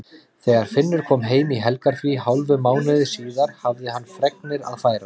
Þegar Finnur kom heim í helgarfrí hálfum mánuði síðar hafði hann fregnir að færa.